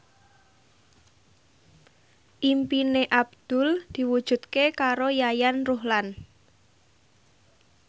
impine Abdul diwujudke karo Yayan Ruhlan